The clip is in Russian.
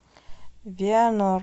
вианор